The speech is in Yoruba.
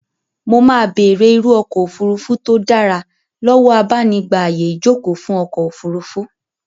Mo máa bèrè irú ọkọ òfurufu tó dára lọ́wọ́ abanigba ààyè ìjókòó fún ọkọ̀-ofurufú.